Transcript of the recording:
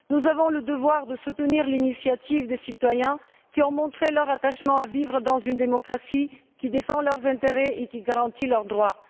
Nous avons le devoir de soutenir l'initiative des citoyens qui ont montré leur attachement à vivre dans une démocratie qui défend leurs intérêts et qui garantit leurs droits.